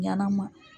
Ɲanama